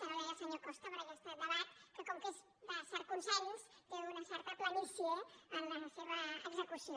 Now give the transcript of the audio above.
ara ho deia el senyor costa per aquest debat que com que és de cert consens té una certa planícia en la seva execució